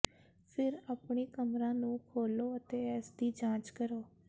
ਫਿਰ ਆਪਣੀ ਕਮਰਾ ਨੂੰ ਖੋਲ੍ਹੋ ਅਤੇ ਇਸ ਦੀ ਜਾਂਚ ਕਰੋ